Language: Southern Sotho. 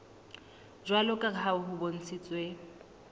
jwalo ka ha ho bontshitswe